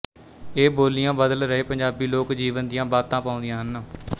ਇਹ ਬੋਲੀਆਂ ਬਦਲ ਰਹੇ ਪੰਜਾਬੀ ਲੋਕ ਜੀਵਨ ਦੀਆਂ ਬਾਤਾਂ ਪਾਉਂਦੀਆ ਹਨ